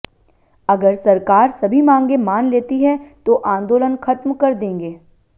अगर सरकार सभी मांगें मान लेती है तो आंदोलन खत्म कर देंगे